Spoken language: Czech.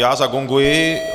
Já zagonguji.